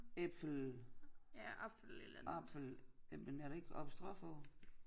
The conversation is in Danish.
Äpfel apfel øh men er der ikke apostrof over